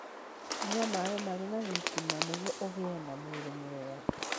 Nyua maĩ marĩ na thitima nĩguo ũgĩe na mwĩrĩ mwega.